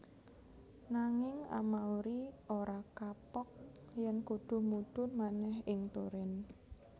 Nanging Amauri ora kapok yèn kudu mudhun manèh ing Turin